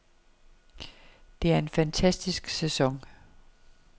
Det er en fantastisk sæson.